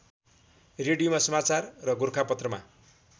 रेडियोमा समाचार र गोरखापत्रमा